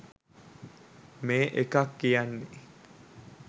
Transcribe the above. මේ එකක් කියන්නෙ